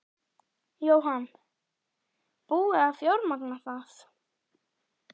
Jóhann: Búið að fjármagna það?